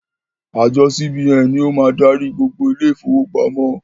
Àjọ CBN ni ó máa darí gbogbo àwọn ilé ìfowópamọ́.